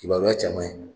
Kibaruya caman ye